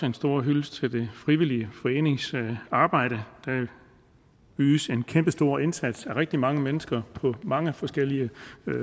en stor hyldest til det frivillige foreningsarbejde der ydes en kæmpestor indsats af rigtig mange mennesker på mange forskellige